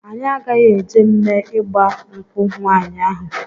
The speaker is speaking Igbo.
Anyị agaghị eje mme ịgba nkwụ nwaanyị ahụ.